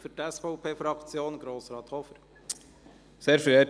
Für die SVP-Fraktion hat Grossrat Hofer das Wort.